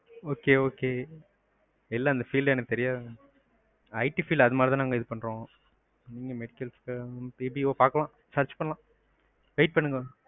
okay, okay இல்ல எனக்கு அந்த field ல தெரியாது. it field அந்தமாதிரி தான் நாங்க இது பண்றோம். medical, BPO பாக்கலாம், search பண்ணலாம்.